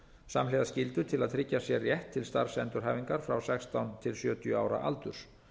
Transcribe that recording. samhliða skyldu til að tryggja sér rétt til starfsendurhæfingar frá sextán til sjötíu ára aldurs